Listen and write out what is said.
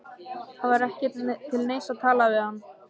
Það var ekki til neins að tala við hann.